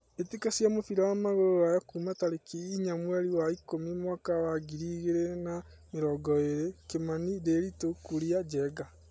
Mbĩtĩka cia mũbira wa magũrũ Ruraya Kiumia tarĩki inya mweri wa ikũmi mwaka wa ngiri igĩrĩ na mĩrongo ĩrĩ: Kimani, Ndiritu, Kuria, Njenga.